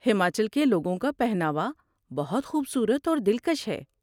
ہماچل کے لوگوں کا پہناوا بہت خوبصورت اور دلکش ہے۔